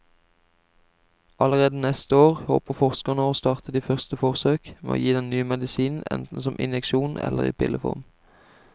Allerede neste år håper forskerne å starte de første forsøk med å gi den nye medisinen enten som injeksjon eller i pilleform.